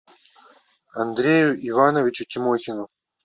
андрею ивановичу тимохину